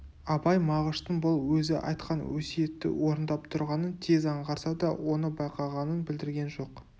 абай мағыштың бұл өзі айтқан өсиетті орындап тұрғанын тез аңғарса да оны байқағанын білдірген жоқ